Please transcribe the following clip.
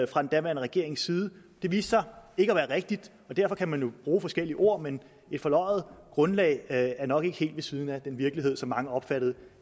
fra den daværende regerings side det viste sig ikke at være rigtigt og derfor kan man jo bruge forskellige ord men et forløjet grundlag er nok ikke helt ved siden af den virkelighed som mange opfattede